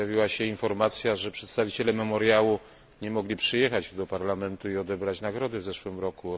Pojawiła się informacja, że przedstawiciele Memoriału nie mogli przyjechać do Parlamentu i odebrać nagrody w zeszłym roku.